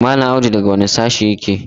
Mallam Audu daga wane sashe yake?